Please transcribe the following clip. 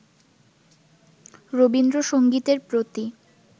রবীন্দ্রসংগীতের প্রতি